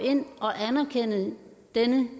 den